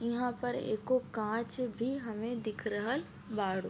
इहां पर एको कांच भी हमे दिख रहल बाड़ू।